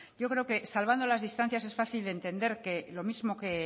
yo creo que salvando las distancias es fácil entender que lo mismo que